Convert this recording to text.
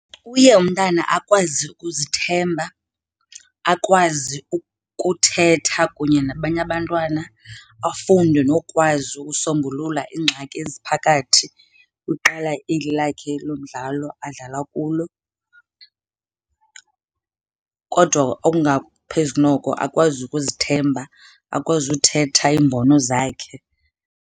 Uye umntana akwazi ukuzithemba, akwazi ukuthetha kunye nabanye abantwana, afunde nokwazi ukusombulula iingxaki eziphakathi kweqela lakhe lo mdlalo adlala kulo. Kodwa okungaphezu noko akwazi ukuzithemba, akwazi ukuthetha iimbono zakhe.